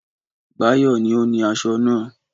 Báyọ̀ ni ó ni aṣọ náà.